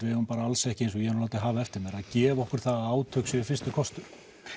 við eigum alls ekki eins og ég hef látið hafa eftir mér að gefa okkur það að átök séu fyrsti kostur